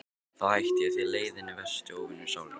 Þá hætti ég, því leiðinn er versti óvinur sálarinnar.